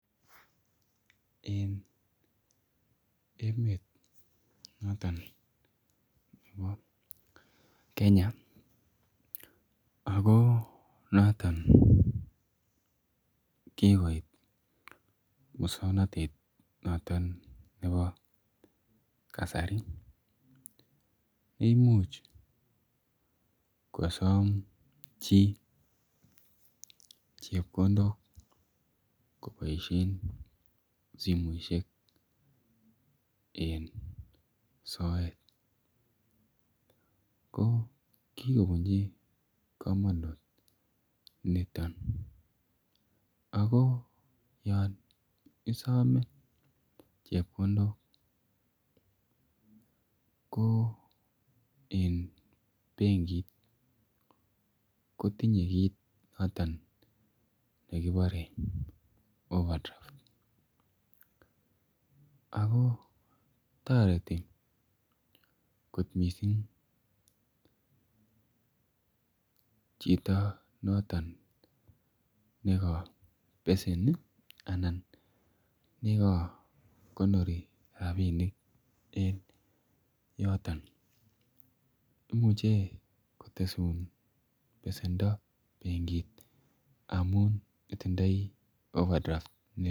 Eng emet notoon nebo Kenya ako notoon kikoit musangnatet notoon nebo kasari imuuch kosoom chii chepkondook kobaisheen simoisiek en soet ko kikobunjii kamanut nitoon ako yaan isame chepkondook ko eng benkiit kotinyei kit notoon nekibare [overdraft] ako taretii koot missing chitoo noto neka beseni anan ko notoon nekakonori rapinik en yotoon imuuchei kotesuun besendo benkiit amuun itindoi [overdraft] ne.